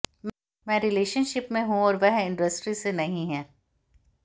मैं रिलेशनशिप में हूं और वह इंडस्ट्री से नहीं हैं